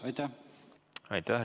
Aitäh!